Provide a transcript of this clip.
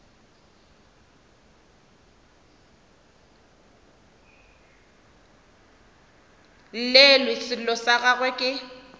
llelwe sello sa gagwe ke